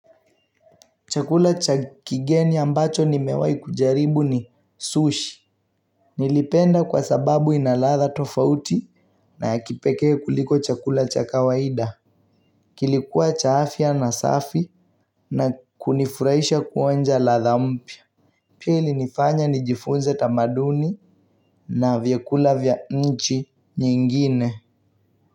Chakula cha kigeni ambacho nimewai kujaribu ni sushi. Nilipenda kwa sababu inaladha tofauti. Na ya kipekee kuliko chakula cha kawaida. Kilikuwa cha afia na safi. Na kunifuraisha kuonja ladha mpya. Pili nifanya nijifunze tamaduni na vyakula vya nchi nyingine.